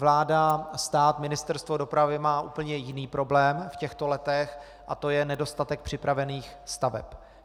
Vláda, stát, Ministerstvo dopravy mají úplně jiný problém v těchto letech a to je nedostatek připravených staveb.